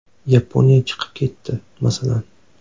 Yaponiya chiqib ketdi, masalan.